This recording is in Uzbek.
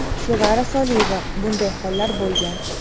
Sevara Soliyeva: Bunday hollar bo‘lgan.